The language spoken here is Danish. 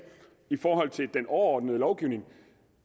i forhold til den overordnede lovgivning